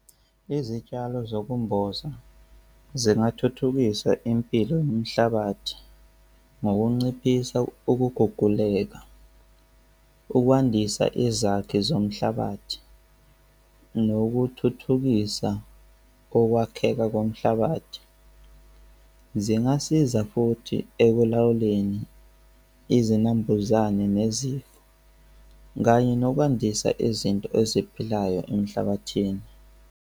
Izitshalo zokumboza zingathuthukisa impilo yomhlabathi ngokunciphisa ukuguguleka, ukwandisa izakhi zomhlabathi nokuthuthukisa ukwakheka komhlabathi. Zingasiza futhi ekulawuleni izinambuzane nezifo kanye nokwandisa izinto eziphilayo emhlabathini.